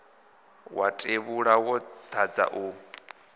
wa tevhula wo dadza u